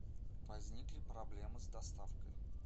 возникли проблемы с доставкой